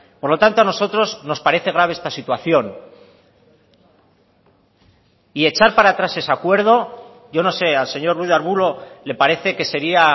por lo tanto a nosotros nos parece grave esta situación y echar para atrás ese acuerdo yo no sé al señor ruiz de arbulo le parece que sería